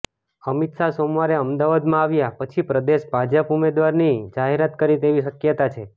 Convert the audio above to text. અમિત શાહ સોમવારે અમદાવાદમાં આવ્યા પછી પ્રદેશ ભાજપ ઉમેદવારની જાહેરાત કરે તેવી શકયતા છે